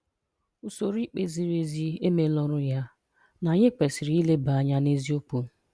Usoro ikpe ziri ezi emeela ọrụ ya na anyị kwesịrị ileba anya n'eziokwu.